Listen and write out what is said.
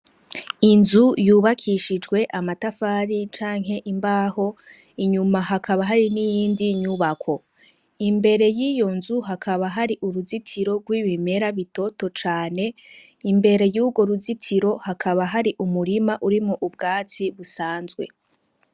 Inzu yubakishijwe amatafari canke imbaho inyuma hakaba hari niyindi nyubako imbere yiyonzu hakaba hari uruzitiro rw'ibimera bitoto cane imbere yurwo ruzitiro hakaba hari umurima urimwo ubwatsi busanzwe.